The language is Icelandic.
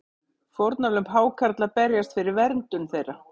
Fórnarlömb hákarla berjast fyrir verndun þeirra